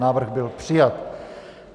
Návrh byl přijat.